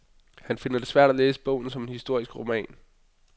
Han finder det svært at læse bogen som en historisk roman.